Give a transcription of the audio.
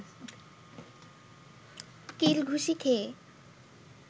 কিল ঘুসি খেয়ে